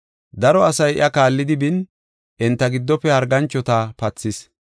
Daro asay iya kaallidi bin enta giddofe harganchota pathis.